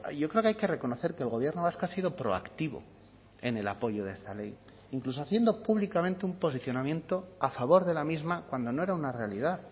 yo creo que hay que reconocer que el gobierno vasco ha sido proactivo en el apoyo de esta ley incluso haciendo públicamente un posicionamiento a favor de la misma cuando no era una realidad